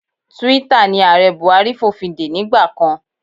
Twitter ni Ààrẹ Buhari fòfindè nígbà kan.